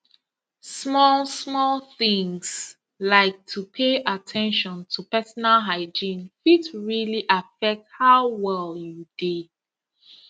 small small things like to pay at ten tion to personal hygiene fit really affect how well you dey